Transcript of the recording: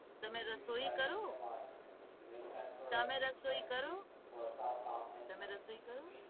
તમને રસોઈ કરું તમે રસોઈ કરું